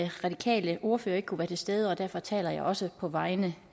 radikale ordfører ikke kunne være til stede og derfor taler jeg også på vegne